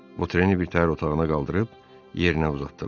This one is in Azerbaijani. Votreni birtəhər otağına qaldırıb yerinə uzatdılar.